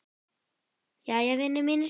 Jæja, vinir mínir.